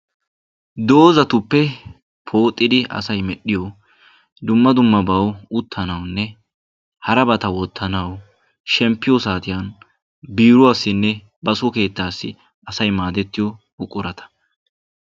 Doozatuppe pooxxidi asay medhdhiyo dumma dummabawu uttanaawunne harabata wottanawu shemmppiyo saatiyan biiruwassinne baso keettaassi asay maadettiyo buqurata.